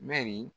Mɛri